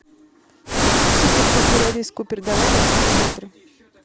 супер пупер элис купер давай я посмотрю